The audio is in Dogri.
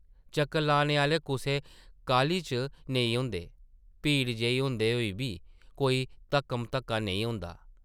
चक्कर लाने आह्ले कुसै काह्ली च नेईं होंदे, भीड़ जेही होंदे होई बी कोई धक्क-म-धक्का नेईं होंदा ।